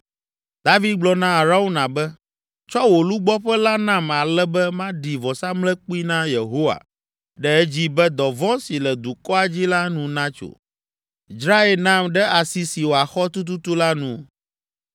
David gblɔ na Arauna be, “Tsɔ wò lugbɔƒe la nam ale be maɖi vɔsamlekpui na Yehowa ɖe edzi be dɔvɔ̃ si le dukɔa dzi la nu natso. Dzrae nam ɖe asi si wòaxɔ tututu la nu.”